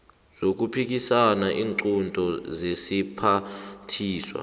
zokuphikisa iinqunto zesiphathiswa